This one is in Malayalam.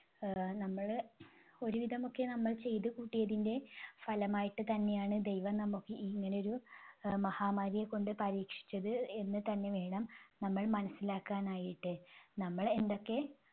ആഹ് നമ്മള് ഒരുവിധം ഒക്കെ നമ്മൾ ചെയ്തുകൂട്ടിയതിന്റെ ഫലമായിട്ട് തന്നെയാണ് ദൈവം നമുക്ക് ഈ ഇങ്ങനെയൊരു ആഹ് മഹാമാരിയെക്കൊണ്ട് പരീക്ഷിച്ചത് എന്ന് തന്നെ വേണം നമ്മൾ മനസ്സിലാക്കാനായിട്ട്. നമ്മള് എന്തൊക്കെ